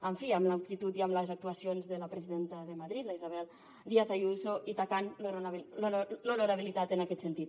en fi amb l’actitud i amb les actuacions de la presidenta de madrid la isabel díaz ayuso i tacant l’honorabilitat en aquest sentit